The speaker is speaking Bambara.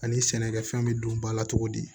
Ani sɛnɛkɛfɛn be don ba la cogo di